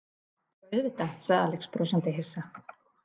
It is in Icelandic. Já, auðvitað, sagði Alex brosandi hissa.